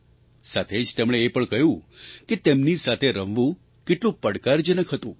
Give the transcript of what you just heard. સાથે જ તેમણે એ પણ કહ્યું કે તેમની સાથે રમવું કેટલું પડકારજનક હતું